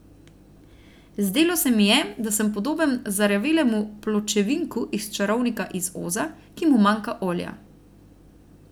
Zdelo se mi je, da sem podoben zarjavelemu Pločevinku iz Čarovnika iz Oza, ki mu manjka olja.